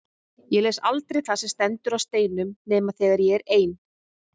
Ég les aldrei það sem stendur á steinum nema þegar ég er ein.